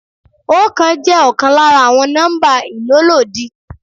Oókan jẹ́ ọkàn lára àwọn nọ́mbà ìlólòdi.